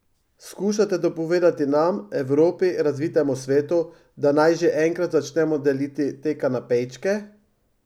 Skušate dopovedati nam, Evropi, razvitemu svetu, da naj že enkrat začnemo deliti te kanapejčke?